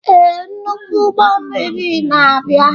Ee, nnukwu ụgbọ mmiri na-abịa.